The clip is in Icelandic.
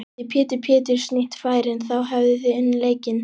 Hefði Pétur Péturs nýtt færin þá hefðuð þið unnið leikinn?